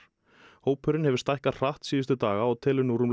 hópurinn hefur stækkað hratt síðustu daga og telur nú rúmlega